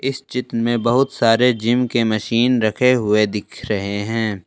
इस चित्र में बहुत सारे जिम के मशीन रखे हुए दिख रहे हैं।